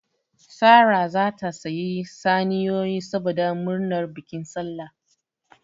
Sara zata sayi saniyoyi saboda murnar bikin sallah